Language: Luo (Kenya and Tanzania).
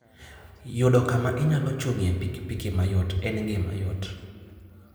Yudo kama inyalo chung'ie pikipiki mayot en gima yot.